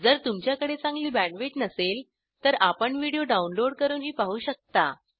जर तुमच्याकडे चांगली Bandwidthबँडविथ नसेल तर आपण व्हिडिओ downloadडाऊनलोड करूनही पाहू शकता